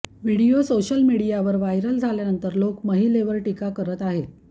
video social मीडियावर viral झाल्यानंतर लोक महिलेवर टीका करत आहेत